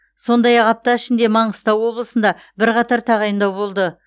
сондай ақ апта ішінде маңғыстау облысында бірқатар тағайындау болды